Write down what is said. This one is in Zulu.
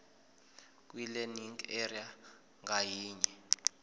kwilearning area ngayinye